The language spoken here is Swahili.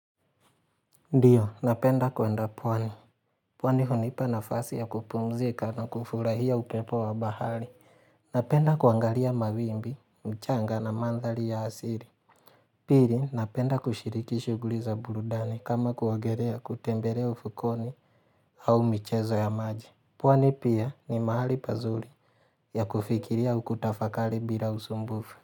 Ndio, napenda kuenda pwani. Pwani hunipa nafasi ya kupumzika na kufurahia upepo wa bahari. Napenda kuangalia mawimbi, mchanga na mandhari ya asili. Pili, napenda kushiriki shughuli za burudani kama kuogelea kutembelea ufukoni au michezo ya maji. Pwani pia ni mahali pazuri ya kufikiria au kutafakari bila usumbufu.